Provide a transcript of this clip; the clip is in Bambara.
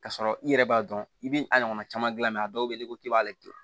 K'a sɔrɔ i yɛrɛ b'a dɔn i b'i a ɲɔgɔnna caman gilan a dɔw bɛ yen n'i ko k'i b'ale to yen